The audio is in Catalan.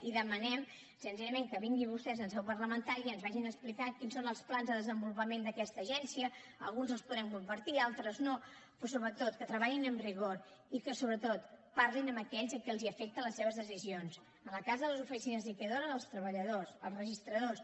i demanem senzillament que vinguin vostès en seu parlamentària i ens vagin explicant quins són els plans de desenvolupament d’aquesta agència alguns els podrem compartir d’altres no però sobretot que treballin amb rigor i que sobretot parlin amb aquells a qui els afecten les seves decisions en el cas de les oficines liquidadores els treballadors els registradors